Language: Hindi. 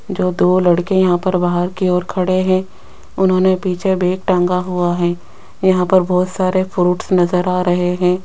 जो दो लड़के यहां पर बाहर कि ओर खड़े हैं उन्होंने पीछे बैग टांगा हुआ है यहां पर बहुत सारे फ्रूट नजर आ रहे है।